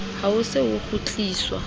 ha ho se ho kgutliswa